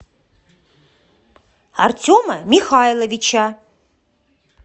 артема михайловича